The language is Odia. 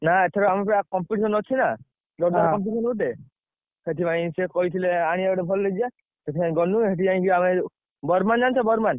ନା ଏଥର ଆମର ପରା competition ଅଛି ନା ଜୋର୍ ଦାରିଆ ହଁ competition ଗୋଟେ ସେଥିପାଇଁ ସେ କହିଥିଲେ ଆଣିବେ ବୋଲି ଭଲ DJ ସେଥିପାଇଁ ଗଲୁ ସେଠି ଯାଇ ଆମେ ଯୋଉ ବର୍ମାନ ଜାଣିଛ ବର୍ମାନ?